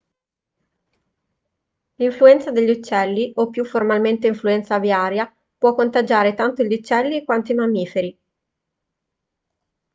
l'influenza degli uccelli o più formalmente influenza aviaria può contagiare tanto gli uccelli quanto i mammiferi